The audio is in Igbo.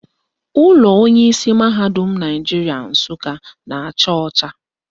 Ụlọ onyeisi mahadum Naijiria Nsụka na-acha ọcha